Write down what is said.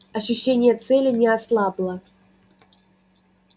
ощущение цели не ослабло